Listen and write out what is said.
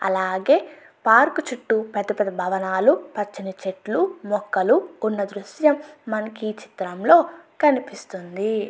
అలాగే పార్కు చుట్టు పెద్ద పెద్ద భవనాలు పచ్చని చెట్లుమొక్కలు ఉన్న దృశ్యం మనకి ఈ చిత్రంలో కనిపిస్తుంది.